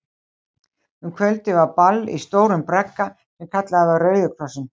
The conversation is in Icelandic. Um kvöldið var ball í stórum bragga, sem kallaður var Rauði Krossinn.